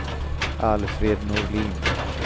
Alfred Norlin